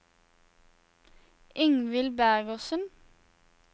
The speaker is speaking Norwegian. Ingvill Bergersen